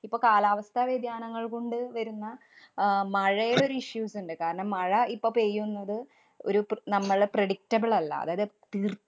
ഇപ്പം കാലാവസ്ഥവ്യതിയാനങ്ങള്‍ കൊണ്ട് വരുന്ന അഹ് മഴയുടെ ഒരു issues ഇണ്ട്. കാരണം മഴ ഇപ്പൊ പെയ്യുന്നത് ഒരു പ്ര~ നമ്മള് predictable അല്ല. അതായത് തീര്‍~